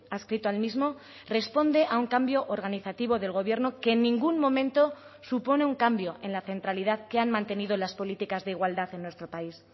adscrito al mismo responde a un cambio organizativo del gobierno que en ningún momento supone un cambio en la centralidad que han mantenido las políticas de igualdad en nuestro país